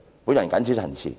"我謹此陳辭。